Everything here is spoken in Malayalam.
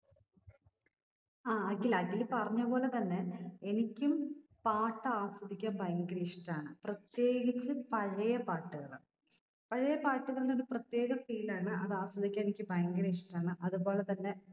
ആ അഖിൽ അഖില് പറഞ്ഞ പോലെ തന്നെ എനിക്കും പാട്ട് ആസ്വദിക്ക ഭയങ്കര ഇഷ്ട്ടാണ് പ്രത്യേകിച്ച് പഴയ പാട്ടുകൾ പഴേ പാട്ടുകൾന് ഒരു പ്രത്യേക feel ആണ് അത് ആസ്വദിക്കാൻ എനിക്ക് ഭയങ്കര ഇഷ്ട്ടാണ് അത്പോലെ തന്നെ